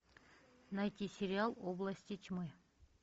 найти сериал области тьмы